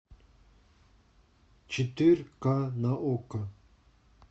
четырка на окко